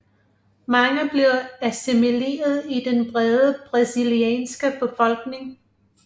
Mange blev assimileret i den brede brasilianske befolkning